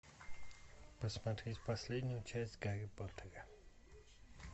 посмотреть последнюю часть гарри поттера